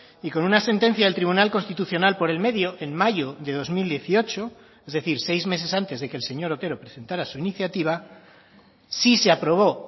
y con una sentencia del tribunal constitucional por el medio en mayo de dos mil dieciocho es decir seis meses antes de que el señor otero presentara su iniciativa sí se aprobó